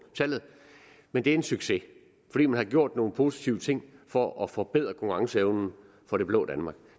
tallet men det er en succes fordi man har gjort nogle positive ting for at forbedre konkurrenceevnen for det blå danmark